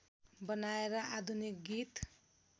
बनाएर आधुनिक गीत